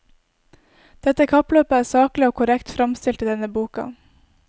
Dette kappløpet er saklig og korrekt framstilt i denne boka.